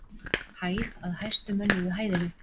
Hæð að hæstu mönnuðu hæðinni.